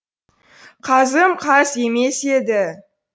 қазым қаз емес еді